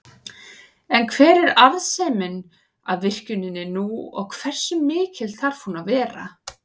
En hver er arðsemin af virkjuninni nú og hversu mikil þarf hún að vera?